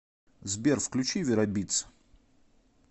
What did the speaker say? сбер включи веробитс